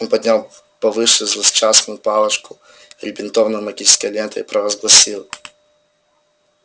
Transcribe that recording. он поднял повыше злосчастную палочку перебинтованную магической лентой и провозгласил